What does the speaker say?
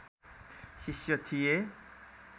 शिष्य थिए